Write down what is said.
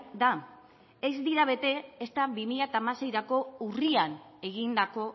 da ez dira bete ezta bi mila hamaseirako urrian egindako